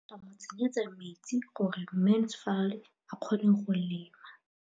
O ne gape a mo tsenyetsa metsi gore Mansfield a kgone go lema.